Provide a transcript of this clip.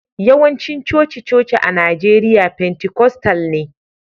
Yawancin coci-coci a Najeriya pentikostal ne